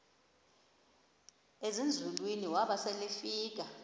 ezinzulwini waba selefika